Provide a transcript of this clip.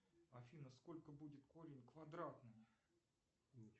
афина сколько будет корень квадратный